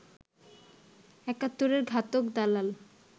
একাত্তরের ঘাতক দালাল